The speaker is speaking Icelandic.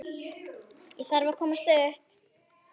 Ég þarf að komast upp.